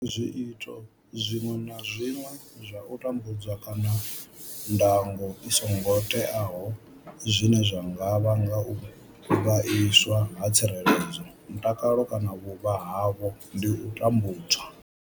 Zwiito zwiṅwe na zwiṅwe zwa u tambudza kana ndango i songo teaho zwine zwa nga vhanga u vhaiswa ha tsireledzo, mutakalo kana vhuvha havho ndi u tambudzwa.